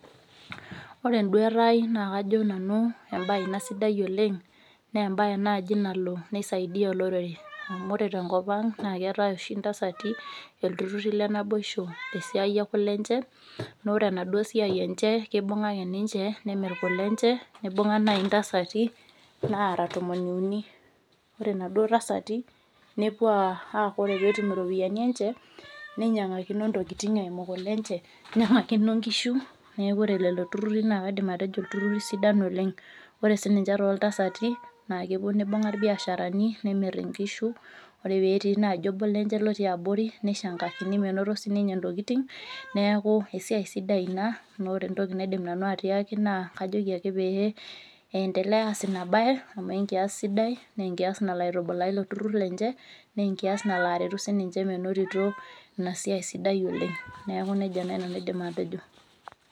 Ore enduaata aai naa kajo nanu, embae ina sidai oleng' naa embae naaji nalo nisaidia olorere. Amu ore tenkopang' naa keetai oshi intasati, iltururi lenaboishi tesiai ekulenje neeku ore enaduo siai enje kibunga nje nemir kule inje, nibunga naai intasati naara tomoniuni ore inaduo tasati nepuo aaku ore peetum iropiyiani enje, ninyiangakino intokitin eimu kulenje, ninyiangakino inkishu neeku ore lelo tururi naa kaidim atejo iltururi sidan oleng'. Ore sininje tootalsati, naa kepuo nibunga ibiasharani nemir inkishu ore peetii obo lenye otii abori nishangakini menoto sininye intokitin, neeku esiai sidai ina, neeku ore entoki naidim nanu atiaki kajoki ake eendelea aas ina baye amu enkias sidai neenkias nalo aitubulaa ilo turur lenje naa enkias nalo aretu sininje menotito ina siai sidai oleng'. Neeku nejia naai nanu aidim atejo.